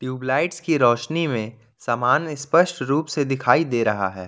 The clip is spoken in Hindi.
ट्यूबलाइट की रोशनी में समान स्पष्ट रूप से दिखाई दे रहा है।